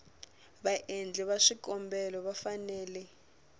vaendli va swikombelo va fanele